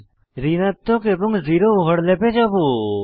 ঋণাত্মক এবং জিরো ওভারল্যাপে যাবো